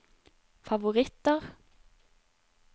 favoritter